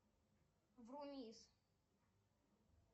вумис